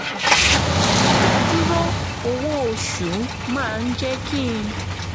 ìdádúró owó oṣù máa ń jẹ́ kí n